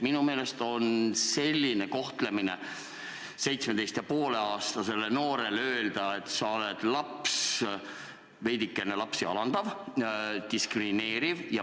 Minu meelest on selline kohtlemine, kui öelda 17,5-aastasele noorele, et sa oled laps, veidikene alandav, diskrimineeriv.